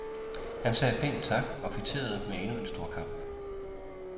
Han sagde pænt tak og kvitterede med endnu en storkamp.